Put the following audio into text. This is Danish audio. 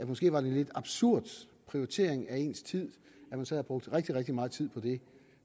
måske var en lidt absurd prioritering af ens tid at man sad og brugte rigtig rigtig meget tid på det